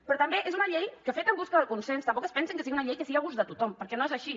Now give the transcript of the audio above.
però també és una llei feta en recerca de consens tampoc es pensin que sigui una llei que sigui a gust de tothom perquè no és així